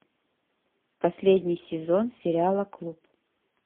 последний сезон сериала клуб